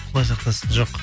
құдай сақтасын жоқ